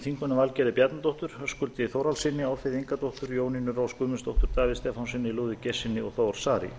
þingmönnum valgerði bjarnadóttur höskuldi þórhallssyni álfheiði ingadóttur jónínu rós guðmundsdóttur davíð stefánssyni lúðvík geirssyni og þór saari